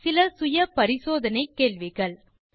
தீர்வு காண self assessment கேள்விகள் 1